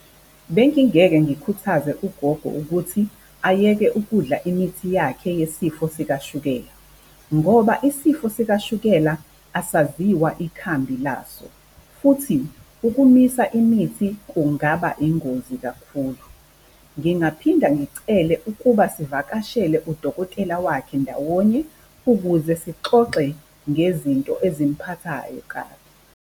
Bengingeke ngikhuthaze ugogo ukuthi ayeke ukudla imithi yakhe yesifo sikashukela. Ngoba isifo sikashukela asaziwa ikhambi laso, futhi uku-miss-a imithi kungaba ingozi kakhulu. Ngingaphinda ngicele ukuba sivakashele udokotela wakhe ndawonye ukuze sixoxe ngezinto ezimphathayo kabi.